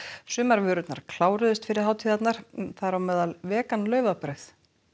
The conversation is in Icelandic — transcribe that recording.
sumar vörur kláruðust fyrir hátíðirnar þar á meðal vegan laufabrauð